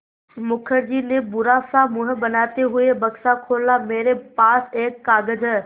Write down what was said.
मुखर्जी ने बुरा सा मुँह बनाते हुए बक्सा खोला मेरे पास एक कागज़ है